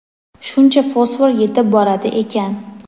shuncha fosfor yetib boradi ekan.